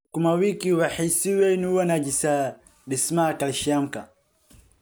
sukuma wiki waxay si weyn u wanaajisaa dhismaha kaalshiyamka